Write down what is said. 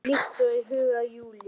Líkt og í huga Júlíu.